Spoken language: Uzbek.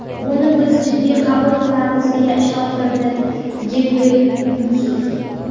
Buni biz jiddiy qabul qilamiz”, deya ishontirdi Gebreyesus .